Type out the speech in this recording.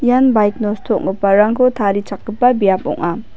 ian baik nosto ong·giparangko tarichakgipa biap ong·a.